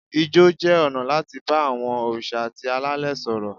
Ijó jẹ́ ọ̀nà láti bá àwọn òrìṣà àti alẹ́lẹ̀ sọ̀rọ̀.